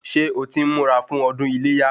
Ṣé o ti ń múra fún ọdún iléyá?